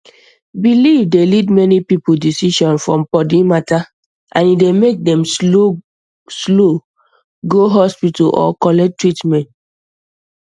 belief dey lead many people decision for body matter and e dey make dem slow go hospital or collect treatment